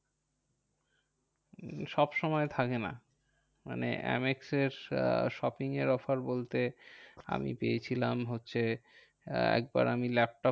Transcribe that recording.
সব সময় থাকে না। মানে এম এক্সের shopping এর offer বলতে আমি পেয়েছিলাম হচ্ছে একবার আমি laptop